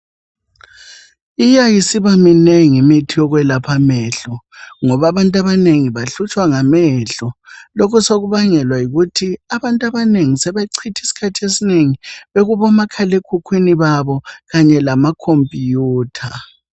Iya isiba minengi imithi yokwelapha amehlo ngoba abantu abanengi bahlutshwa ngamehlo lokhu sokubangwela yikuthi abantu abanengi sebecitha isikhathi esinengi bekubomakhala ekhukwini babo kanye lamacomputer.